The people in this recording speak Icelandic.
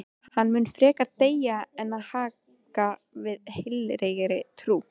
Hann mun frekar deyja en hagga við heilagri trú.